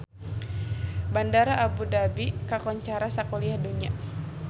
Bandara Abu Dhabi kakoncara sakuliah dunya